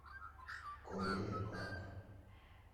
корея парк